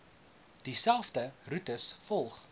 dieselfde roetes volg